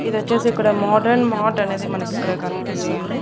ఇది వచ్చేసి ఇక్కడ మోడ్రెన్ మార్ట్ అనేది మనకిక్కడ కనిపిస్తుంది.